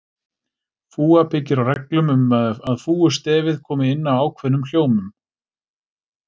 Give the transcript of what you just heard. Fúga byggir á reglum um að fúgustefið komi inn á ákveðnum hljómum.